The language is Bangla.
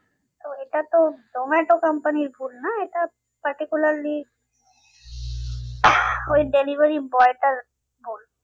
তো এটা তো জোমাটো company র ভুল না এটা particularly ওই delivery boy টার ভুল